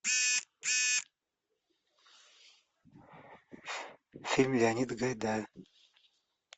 фильм леонида гайдая